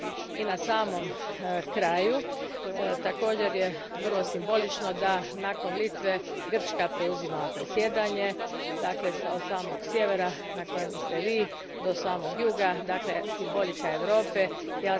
I na samom kraju, također je vrlo simbolično da nakon Litve Grčka preuzima predsjedanje, dakle, od samog sjevera na kojem ste vi do samog juga simbolika Europe, dakle.